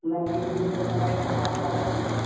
ଇନ ticket ଫିକେଟ୍ ସବୁ କଟା ହେଇକରି ।